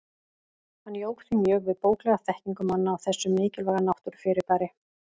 Hann jók því mjög við bóklega þekkingu manna á þessu mikilvæga náttúrufyrirbæri.